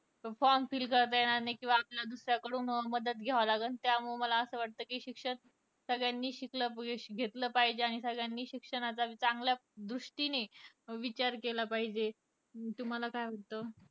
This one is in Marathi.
Form fill करता येणार नाही किंवा आपला दुसऱ्याकडून मदत घ्यावा लागल. त्यामुळं मला असं वाटत कि शिक्षण सगळ्यांनी शिक्षण घेतलं पाहिजे, आणि सगळ्यांनी शिक्षणाचा चांगल्या दृष्टीने विचार केला पाहिजे अं तुम्हाला काय वाटतं?